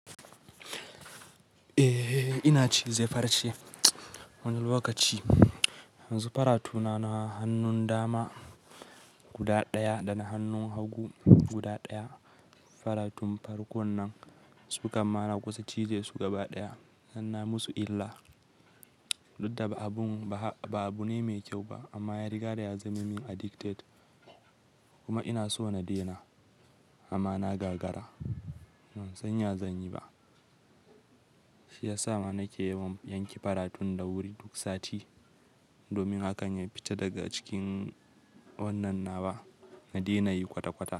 Eh, ina cize farce wani lokaci. Yanzu faratuna na hannun dama guda ɗaya da na hannun hagu guda ɗaya. Faratun farkon nan sukan mana kusa cize su gaba ɗaya sannan musu illa. Duk da ba abun yi mai kyau ba amma yariga ta yazamin ni addicted kuma ina so na daina amma na gagara ban san ya zanyi ba. Shi ya sa ma nake yawan yanke faratun da wuri duk sati domin hakan ya fita daga cikin wannan naba na daina yi kwata-kwata.